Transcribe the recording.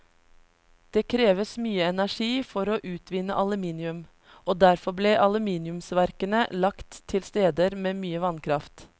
Det kreves mye energi for å utvinne aluminium, og derfor ble aluminiumsverkene lagt til steder med mye vannkraft.